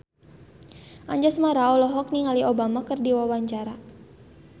Anjasmara olohok ningali Obama keur diwawancara